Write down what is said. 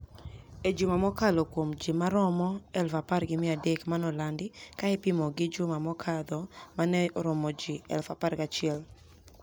E juma mokalo kuom ji maromo 10,300 monolanidi ka ipimo gi juma mokadho mani eromo jii 11,00.